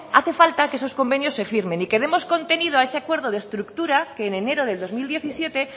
hace falta que esos convenios se firmen y que demos contenido a ese acuerdo de estructura que en enero de dos mil diecisiete